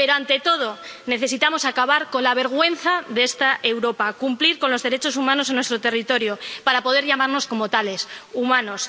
Pero, ante todo, necesitamos acabar con la vergüenza de esta Europa cumplir con los derechos humanos en nuestro territorio, para poder llamarnos como tales, humanos